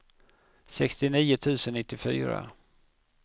sextionio tusen nittiofyra